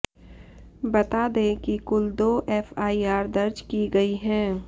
बता दें कि कुल दो एफआईआर दर्ज की गई है